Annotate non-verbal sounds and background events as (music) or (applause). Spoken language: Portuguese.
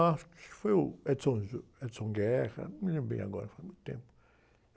Acho que foi o, (unintelligible) o, (unintelligible) não me lembro bem agora, faz muito tempo.